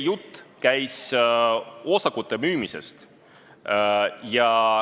Jutt käis osakute müümisest.